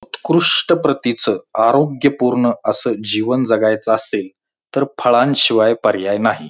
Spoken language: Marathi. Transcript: उत्कृष्ट प्रतीच आरोग्य पूर्ण असं जीवन जगायच असेल तर फळांशिवाय पर्याय नाही.